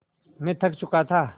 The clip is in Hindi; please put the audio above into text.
मैं थक चुका था